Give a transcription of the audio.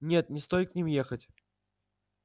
нет не стоит к ним ехать